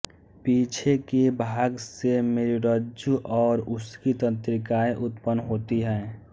पीछे के भाग से मेरुरज्जु और उसकी तंत्रिकाएँ उत्पन्न होती हैं